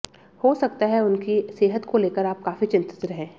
हो सकता है उनकी सेहत को लेकर आप काफी चिंतित रहें